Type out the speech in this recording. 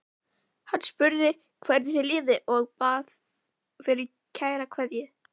Hann spurði hvernig þér liði og bað fyrir kæra kveðju.